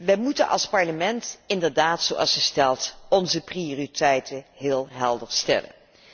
Wij moeten als Parlement inderdaad, zoals ze stelt, onze prioriteiten heel helder stellen.